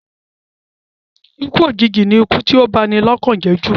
Ikú òjìji ni ikú tí ó ń ba ni lọ́kàn jẹ́ jù